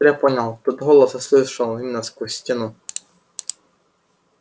теперь я понял тот голос я слышал именно сквозь стену